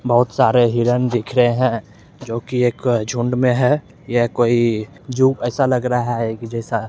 बहुत सारे हिरण दिख रहें हैं जो की एक झुंड में हैं ये कोई ज़ू जैसा लग रहा है की जैसा --